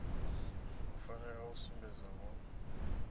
u fanela u sumbedza hu